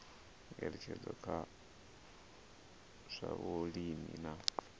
ngeletshedzo kha zwa vhulimi na